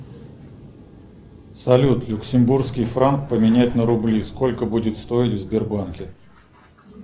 салют люксембургский франк поменять на рубли сколько будет стоить в сбербанке